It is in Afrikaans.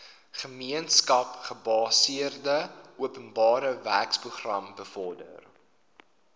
gemeenskapsgebaseerde openbarewerkeprogram bevorder